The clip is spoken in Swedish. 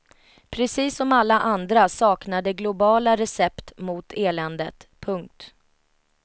Precis som alla andra saknar de globala recept mot eländet. punkt